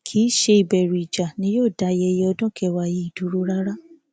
kì í ṣe ìbẹrù ìjà ni yóò dá ayẹyẹ ọdún kẹwàá yìí dúró rárá